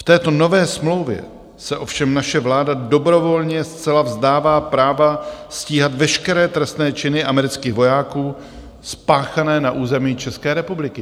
V této nové smlouvě se ovšem naše vláda dobrovolně zcela vzdává práva stíhat veškeré trestné činy amerických vojáků spáchané na území České republiky.